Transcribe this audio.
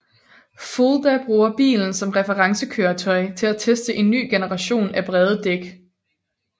Fulda bruger bilen som referencekøretøj til at teste en ny generation af brede dæk